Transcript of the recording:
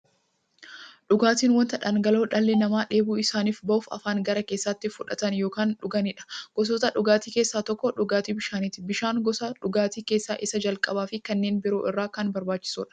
Dhugaatiin wanta dhangala'oo dhalli namaa dheebuu isaanii ba'uuf, afaaniin gara keessaatti fudhatan yookiin dhuganiidha. Gosoota dhugaatii keessaa tokko dhugaatii bishaaniti. Bishaan gosa dhugaatii keessaa isa jalqabaafi kanneen biroo irra kan barbaachisuudha.